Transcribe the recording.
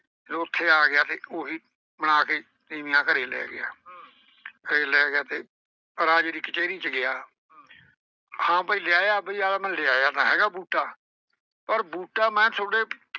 ਫਿਰ ਉੱਥੇ ਆ ਗਿਆ ਤੇ ਉਹੀ ਬਣਾ ਕੇ ਤੀਵੀਆਂ ਘਰੇ ਲਏ ਗਿਆ। ਘਰੇ ਲਏ ਗਿਆ ਤੇ ਰਾਜੇ ਦੀ ਕਚਹਿਰੀ ਚ ਗਿਆ ਹਾਂ ਬਈ ਲਿਆਇਆ ਅਮਲੀ ਆਂਹਦਾ ਮੈਂ ਲਿਆਇਆ ਬੂਟਾ ਪਰ ਬੂਟਾ ਮੈਂ ਥੋਡੇ,